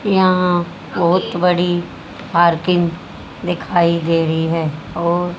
यहां बहोत बड़ी पार्किंग दिखाई दे रही है और--